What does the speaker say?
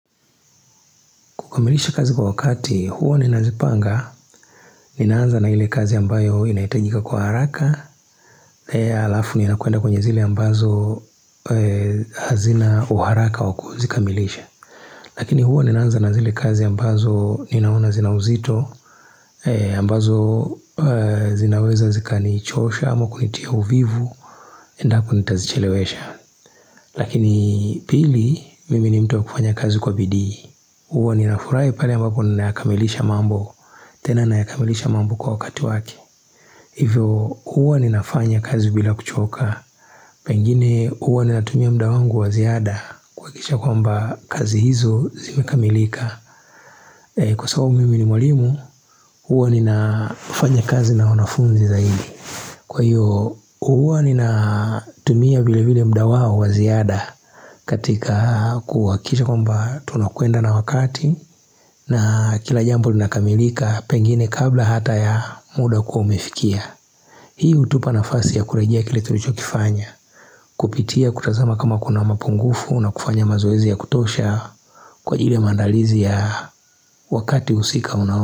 Kukamilisha kazi kwa wakati, huwa ninazipanga, ninaanza na ile kazi ambayo inaitajika kwa haraka, na hio alafu nina kuenda kwenye zile ambazo hazina uharaka waku zikamilisha. Lakini huwa ninaanza na zile kazi ambazo ninaona zina uzito, ambazo zinaweza zika nichosha ama kunitia uvivu, endapo nitazichelewesha. Lakini pili mimi ni mtu wa kufanya kazi kwa bidii Uwa ninafurai pale ambapo ninaakamilisha mambo tena nayakamilisha mambo kwa wakati wake Hivyo uwa ninafanya kazi bila kuchoka Pengine uwa nina tumia mda wangu waziada kuakikisha kwamba kazi hizo zimekamilika Kwa sababu mimi ni mwalimu Uwa ninafanya kazi na wanafunzi zaidi Kwa hiyo uwa nina tumia vile vile mda wao waziada katika kuhakikisha kwamba tunakuenda na wakati na kila jambo lina kamilika pengine kabla hata ya muda kuwa umefikia Hii utupa na fasi ya kurejea kile tulicho kifanya Kupitia kutazama kama kuna mapungufu na kufanya mazoezi ya kutosha Kwa hile maandalizi ya wakati husika unawo.